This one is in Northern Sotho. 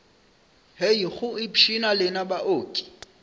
hei go ipshina lena baoki